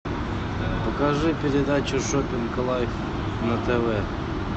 покажи передачу шоппинг лайф на тв